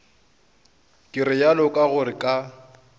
ke realo ka gore ka